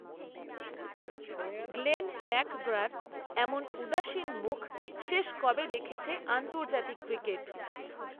Glenn ম্যাকগ্রার, এমন উদাসীন মুখ, শেষ কবে দেখেছে আন্তর্জাতিক ক্রিকেট